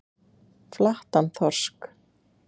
Flattan þorsk.